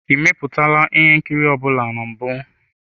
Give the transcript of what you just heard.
Ị mepụtala ihe nkiri ọ bụla na mbụ?